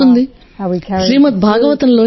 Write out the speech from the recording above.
Srimad Bhagavatam TCR 9